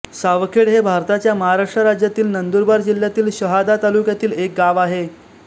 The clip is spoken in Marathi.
सावखेड हे भारताच्या महाराष्ट्र राज्यातील नंदुरबार जिल्ह्यातील शहादा तालुक्यातील एक गाव आहे